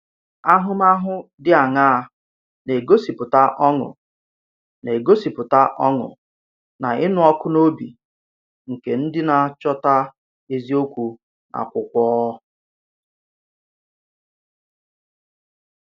Áhù̀máhụ̀ dị àṅàa n’ègòsìpùtà ọ̀ṅụ̀ n’ègòsìpùtà ọ̀ṅụ̀ na ịnụ̀ ọkụ̀ n’òbì nke ndí na-achọ̀tà eziokwu n’akwụkwọ?